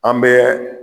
An bɛ